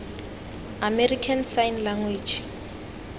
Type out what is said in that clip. american sign language